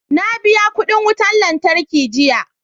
Na biya kudin wutar lantarki jiya